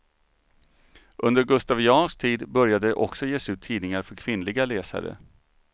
Under gustaviansk tid börjar det också ges ut tidningar för kvinnliga läsare.